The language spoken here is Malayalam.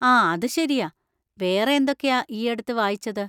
ആ, അത് ശരിയാ; വേറെ എന്തൊക്കെയാ ഈയടുത്ത് വായിച്ചത്?